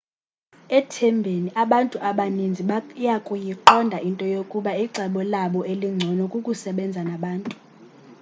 ethembeni abantu abaninzi bayakuyiqonda into yokuba icebo labo elingcono kukusebenza nabantu